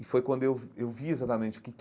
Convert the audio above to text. E foi quando eu vi eu vi exatamente o que que,